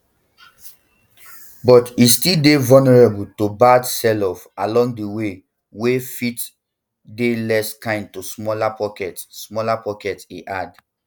but it e still dey vulnerable to bad selloffs along the way wey fit dey less kind to smaller pockets smaller pockets e add